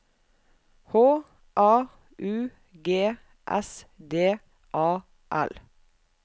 H A U G S D A L